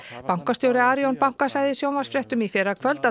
bankastjóri Arion banka sagði í sjónvarpsfréttum í fyrrakvöld að